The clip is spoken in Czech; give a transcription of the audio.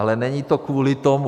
Ale není to kvůli tomu.